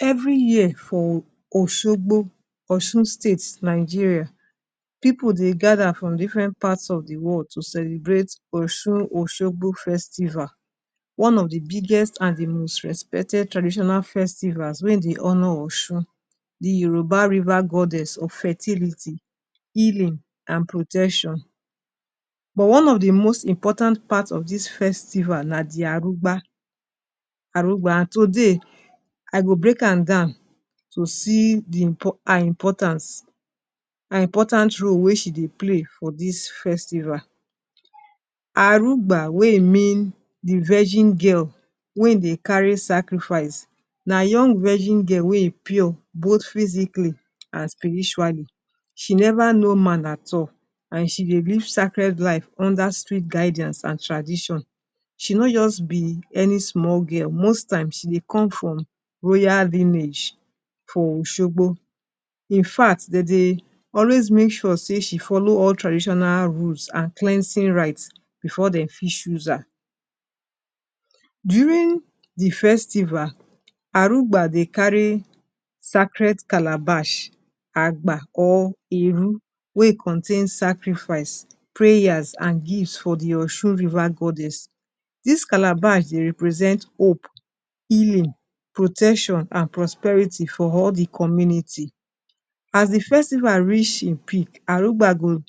Every year for Osogbo, Osun State, Nigeria, pipu dem gather from different parts of the world to celebrate Osun Osogbo Festival. One of the biggest and the most respected traditional festivals when dem honor Osun, the Yoruba river goddess of fertility, healing, and protection. But one of the most important part of this festival na d arugba arugba today I go break am down to see di her importance, her important role wey she dem play for this festival. Arugba wey hin mean the virgin girl wey hin dem carry sacrifice. Na young virgin girl weh hin pure both physically and spiritually. She never know man at all and she dey live sacred life under strict guidance and tradition. She no just be any small girl, most times she come from royal lineage for Osogbo. In fact, Dem Dey always make sure she follow all traditional rules and cleansing rites before dem fit choose her. During the festival, Arugba dem carry sacred calabash, Agbo or Ebo, which contains sacrifice, prayers, and gifts for the Ocean River Goddess. These Calabash represent hope, healing, protection, and prosperity for all the community. As the festival reach its peak, Arugba go,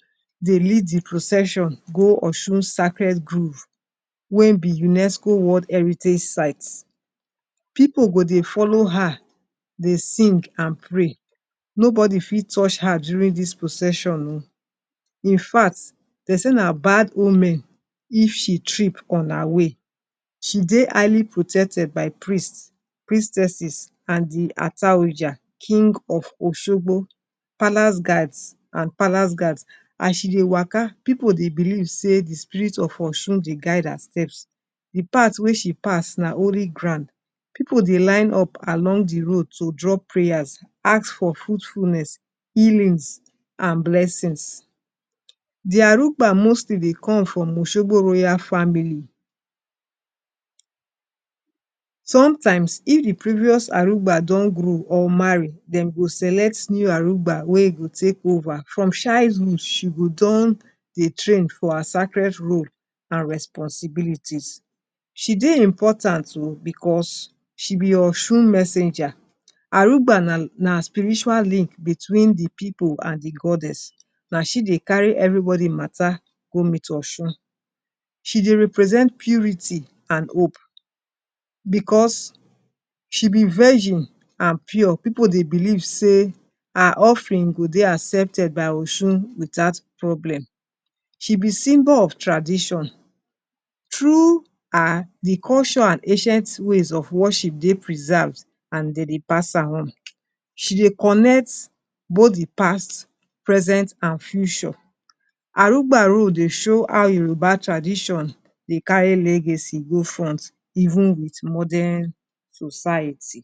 dem lead the procession, go Osun sacred groves, wey be UNESCO World Heritage Sites. Pipu go, dey follow her, dey sing and pray. Nobody fit touched her during this procession oh. In fact, dem say na bad omen if she trip on her way. She stay highly protected by priests, priestesses, and the Ataoja King of Osogbo, Palace Guards, and Palace Guards, As she dey waka, pipu dey believe say the spirit of Osun dey guide her steps. The pathway she pass na holy ground, pipu dem line up along the road to drop prayers, ask for fruitfulness, healings, and blessings. The Arugba mostly dem come from Osogbo royal family. Sometimes, if the previous Arugba don grow or marry, dem go select new Arugba wey go take over. From childhood, she go don dey train for her sacred role and responsibilities. She dey important oh, because she be Osun messenger. Arugba na na spiritual link between the pipu and the goddess, na she dey carry everybody matter go meet Osun. She dey represent purity and hope, because She be virgin and pure. Pipu dem believe say her offering go dey accepted by osun without problem. She be symbol of tradition. True are the cultural and ancient ways of worship dey preserved and dem dey pass am on. She dey connect both the past, present, and future. Arugba road dey show how Yoruba tradition dey carry legacy go front even without modern society.